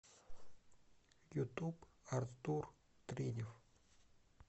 ютуб артур тринев